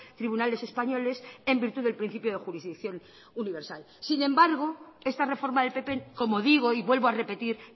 tribunales españoles en virtud del principio de jurisdicción universal sin embargo esta reforma del pp como digo y vuelvo a repetir